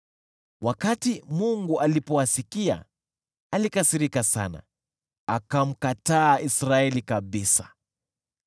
Wakati Mungu alipowasikia, alikasirika sana, akamkataa Israeli kabisa.